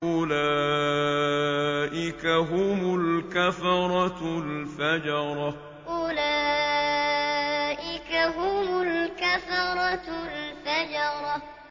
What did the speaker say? أُولَٰئِكَ هُمُ الْكَفَرَةُ الْفَجَرَةُ أُولَٰئِكَ هُمُ الْكَفَرَةُ الْفَجَرَةُ